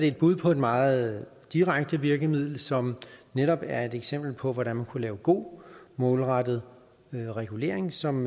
et bud på et meget direkte virkemiddel som netop er et eksempel på hvordan man kunne lave god målrettet regulering som